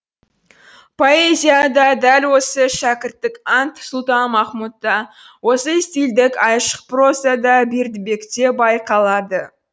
поэзияда дәл осы шәкірттік ант сұлтанмахмұтта осы стильдік айшық прозада бердібекте байқалады